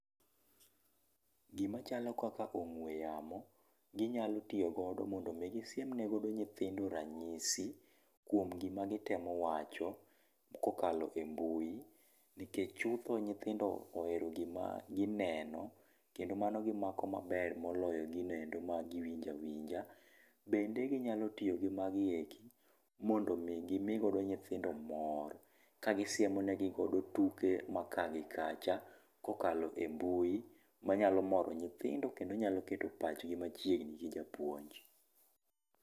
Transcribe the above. Gima chalo kaka ong'ue yamo ginyalo tiyogo mondo mi gisiem nego nyithindo ranyisi kuom gima gitemo wacho kokalo e mbui. Nikech chutho nyithindo ohero gima gineno kendo mano gimako maber moloyo gino endo ma giwinjo awinja. Bende ginyalo tiyo gimagi eki mondo mi gimi godo nyithindo mor, ka gisiemo negi godo tuke ma kaa gi kacha, kokalo embui manyalo moro nyithindo kendo nyalo keto pachgi machiegni gi japuonj.